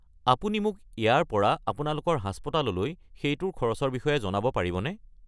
আপুনি মোক ইয়াৰ পৰা আপোনালোকৰ হাস্পতাললৈ সেইটোৰ খৰচৰ বিষয়ে জনাব পাৰিবনে?